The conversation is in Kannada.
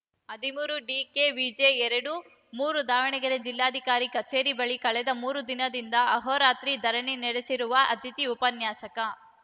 ಹದಿಮೂರು ಡಿಕೆವಿಜಿ ಎರಡು ಮೂರು ದಾವಣಗೆರೆ ಜಿಲ್ಲಾಧಿಕಾರಿ ಕಚೇರಿ ಬಳಿ ಕಳೆದ ಮೂರು ದಿನದಿಂದ ಅಹೋರಾತ್ರಿ ಧರಣಿ ನಡೆಸಿರುವ ಅತಿಥಿ ಉಪನ್ಯಾಸಕ